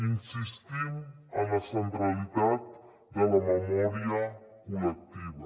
insistim en la centralitat de la memòria col·lectiva